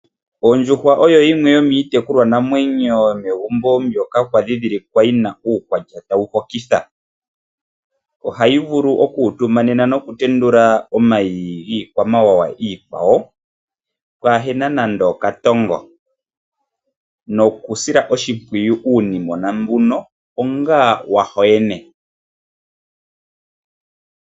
Ondjuhwa oyo yimwe yomiitekulwanamwenyo yomegumbo mbyoka kwali kwa dhidhilikwa yi na uukwatya tawu hokitha. Ohayi vulu oku utumanena nokutendula omayi giikwamawawa iikwawo, pwaa hena nande okatongo. Nokusila oshimpwiyu uunimona mbuno onga wa yo yene.